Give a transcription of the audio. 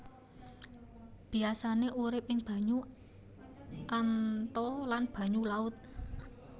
Biasané uripé ing banyu anta lan banyu laut